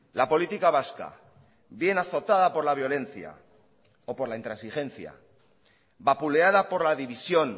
la política vasca bien azotada por la violencia o por la intransigencia vapuleada por la división